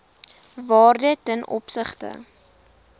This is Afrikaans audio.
waarde ten opsigte